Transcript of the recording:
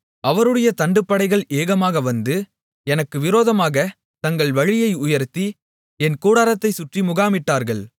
அவருடைய தண்டுப்படைகள் ஏகமாக வந்து எனக்கு விரோதமாகத் தங்கள் வழியை உயர்த்தி என் கூடாரத்தைச் சுற்றி முகாமிட்டார்கள்